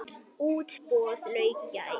Útboði lauk í gær.